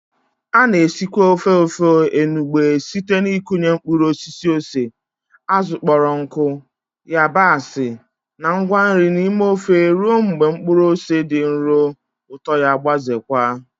A na-esikwa ofe Ofe enugbe site n'ịkụnye mkpụrụ osisi ose, azụ̀ kpọrọ nkụ, yabasị, na ngwa nri n'ime ofe ruo mgbe mkpụrụ ose dị nro, ụtọ ya gbazeekwa.